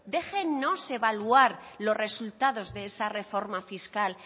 déjennos evaluar los resultados de esa reforma fiscal